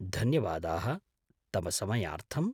धन्यवादाः तव समयार्थम्।